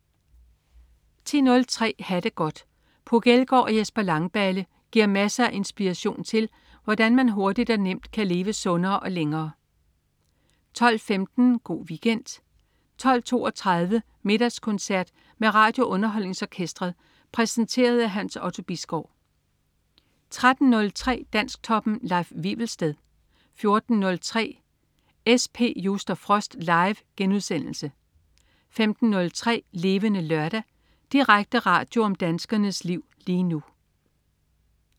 10.03 Ha' det godt. Puk Elgård og Jesper Langballe giver masser af inspiration til, hvordan man hurtigt og nemt kan leve sundere og længere 12.15 Go' Weekend 12.32 Middagskoncert med RadioUnderholdningsOrkestret. Præsenteret af Hans Otto Bisgaard 13.03 Dansktoppen. Leif Wivelsted 14.03 SP Just & Frost. Live* 15.03 Levende Lørdag. Direkte radio om danskernes liv lige nu